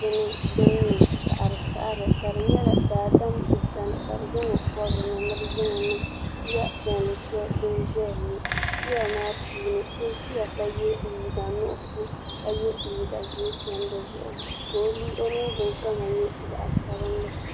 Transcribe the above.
bini din niŋ saɣiri saɣiri ka di nyɛla daadam n kani ka bi zaŋ o pɔbi dini ni bi zaŋ o niŋ kiya piɛlli shɛli din ʒɛya ŋɔ kiya maa puuni so ʒiya ka yɛ liiga nuɣusu ka yɛ liiga ʒee tam di zuɣu ka o ningbun kama nyɛ zaɣa sabinli.